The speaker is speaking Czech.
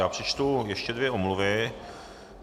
Já přečtu ještě dvě omluvy.